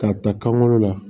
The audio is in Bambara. K'a ta kan kɔnɔ la